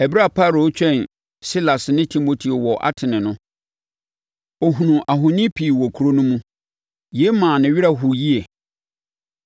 Ɛberɛ a Paulo retwɛn Silas ne Timoteo wɔ Atene no, ɔhunuu ahoni pii wɔ kuro no mu. Yei maa ne werɛ hoeɛ yie.